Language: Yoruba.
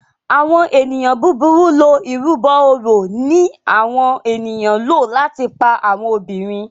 Àwọn ènìyàn búburú lọ ìrúbo òrò ní àwọn ènìyàn ló láti pá àwọn obìrin.